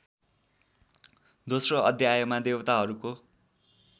दोस्रो अध्यायमा देवताहरूको